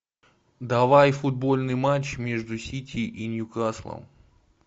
давай футбольный матч между сити и ньюкаслом